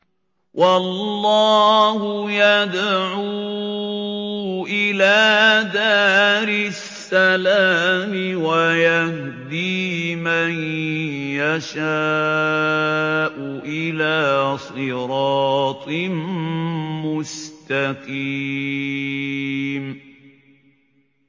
وَاللَّهُ يَدْعُو إِلَىٰ دَارِ السَّلَامِ وَيَهْدِي مَن يَشَاءُ إِلَىٰ صِرَاطٍ مُّسْتَقِيمٍ